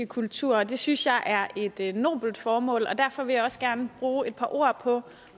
kultur og det synes jeg er et nobelt formål derfor vil jeg også gerne bruge et par ord på